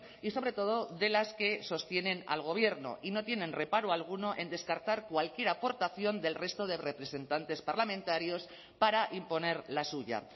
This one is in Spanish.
y sobre todo de las que sostienen al gobierno y no tienen reparo alguno en descartar cualquier aportación del resto de representantes parlamentarios para imponer la suya